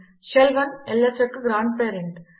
shell 1 ల్స్ యొక్క grand parent